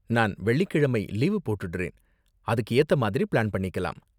நான் வெள்ளிக்கிழமை லீவு போட்டுடுறேன், அதுக்கு ஏத்த மாதிரி ப்ளான் பண்ணிக்கலாம்.